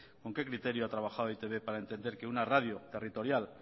con qué criterio a trabajado e i te be para entender que una radio territorial